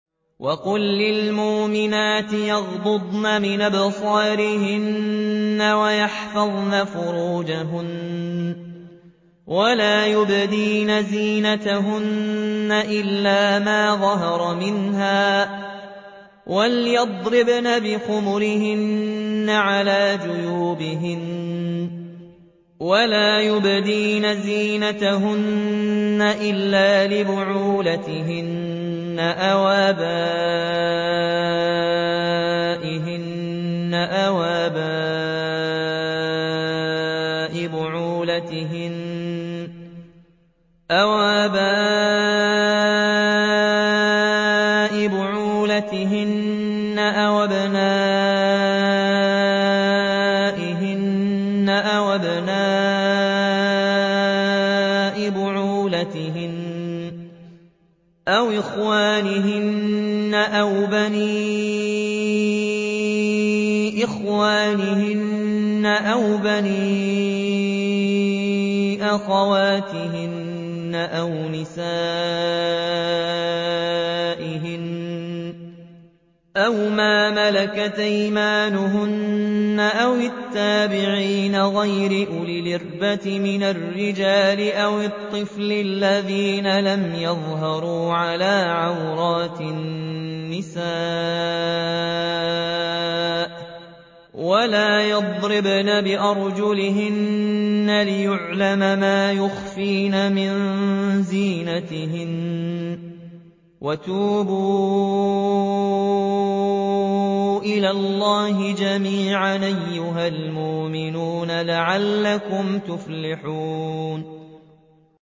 وَقُل لِّلْمُؤْمِنَاتِ يَغْضُضْنَ مِنْ أَبْصَارِهِنَّ وَيَحْفَظْنَ فُرُوجَهُنَّ وَلَا يُبْدِينَ زِينَتَهُنَّ إِلَّا مَا ظَهَرَ مِنْهَا ۖ وَلْيَضْرِبْنَ بِخُمُرِهِنَّ عَلَىٰ جُيُوبِهِنَّ ۖ وَلَا يُبْدِينَ زِينَتَهُنَّ إِلَّا لِبُعُولَتِهِنَّ أَوْ آبَائِهِنَّ أَوْ آبَاءِ بُعُولَتِهِنَّ أَوْ أَبْنَائِهِنَّ أَوْ أَبْنَاءِ بُعُولَتِهِنَّ أَوْ إِخْوَانِهِنَّ أَوْ بَنِي إِخْوَانِهِنَّ أَوْ بَنِي أَخَوَاتِهِنَّ أَوْ نِسَائِهِنَّ أَوْ مَا مَلَكَتْ أَيْمَانُهُنَّ أَوِ التَّابِعِينَ غَيْرِ أُولِي الْإِرْبَةِ مِنَ الرِّجَالِ أَوِ الطِّفْلِ الَّذِينَ لَمْ يَظْهَرُوا عَلَىٰ عَوْرَاتِ النِّسَاءِ ۖ وَلَا يَضْرِبْنَ بِأَرْجُلِهِنَّ لِيُعْلَمَ مَا يُخْفِينَ مِن زِينَتِهِنَّ ۚ وَتُوبُوا إِلَى اللَّهِ جَمِيعًا أَيُّهَ الْمُؤْمِنُونَ لَعَلَّكُمْ تُفْلِحُونَ